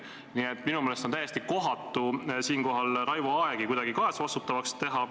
Nii et minu meelest on täiesti kohatu siinkohal Raivo Aegi kuidagi kaasvastutavaks teha.